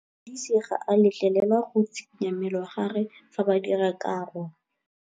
Modise ga a letlelelwa go tshikinya mmele wa gagwe fa ba dira karô.